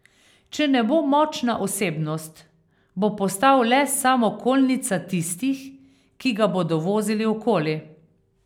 Če ne bo močna osebnost, bo postal le samokolnica tistih, ki ga bodo vozili okoli.